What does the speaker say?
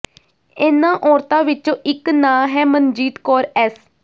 ਇਹਨਾਂ ਔਰਤਾਂ ਵਿੱਚੋਂ ਇੱਕ ਨਾਂ ਹੈ ਮਨਜੀਤ ਕੌਰ ਐੱਸ